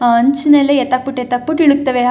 ಹಂಚ್ ಎಲ್ಲ ಎತ್ತ್ ಹಾಕ್ಬಿಟ್ಟು ಎತ್ತ್ ಹಾಕ್ಬಿಟ್ಟು ಇಳಿಕ್ತವೇ--